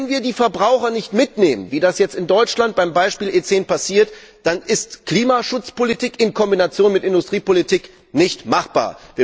Wenn wir die Verbraucher nicht mitnehmen, wie das jetzt in Deutschland beim Beispiel E10 passiert, dann ist Klimaschutzpolitik in Kombination mit Industriepolitik nicht machbar!